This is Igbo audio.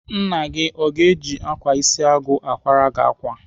Nna gị o ga-eji ákwà isi agụ akwara gị ákwà?